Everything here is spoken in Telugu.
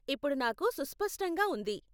ఇప్పుడు నాకు సుస్పష్టంగా ఉంది.